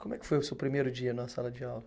Como é que foi o seu primeiro dia numa sala de aula?